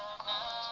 to apply tshi tea u